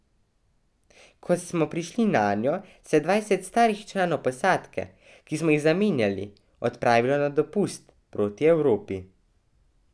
Ko smo prišli nanjo, se je dvajset starih članov posadke, ki smo jih zamenjali, odpravilo na dopust proti Evropi.